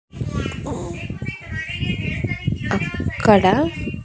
అక్కడ.